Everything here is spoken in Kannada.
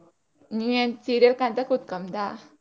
ನೀ ಏನ್ serial ಕಾಣ್ತಾ ಕೂತ್ಕೊಂಬುದ?